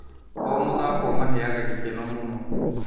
O mũthako ũmaheaga gĩkeno mũno.